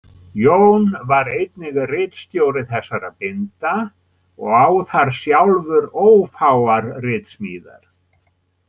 Jón var einnig ritstjóri þessara binda og á þar sjálfur ófáar ritsmíðar.